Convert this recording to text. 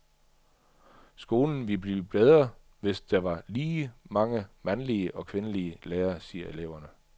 Skolen ville blive bedre, hvis der var lige mange mandlige og kvindelige lærere, siger eleverne.